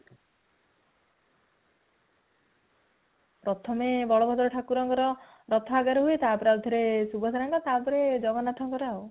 ପ୍ରଥମେ ବଳ ଭଦ୍ର ଠାକୁରଙ୍କର ରଥ ଆଗରେ ହୁଏ ତାପରେ ଆଉ ଥରେ ସୁଭଦ୍ରାଙ୍କର ତା ପରେ ଜଗନ୍ନାଥଙ୍କର ଆଉ